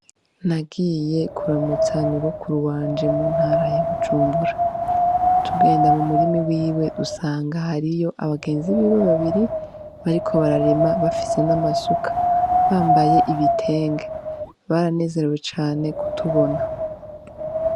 Nagiye kuramutsa nyogokuru wanje mu ntara ya bujumbura, tugenda mu murima iwiwe dusanga hariyo abagenzi biwe babiri bariko bararima bafise n'amasuka, bambaye ibitenge, baranezerewe cane kutubona.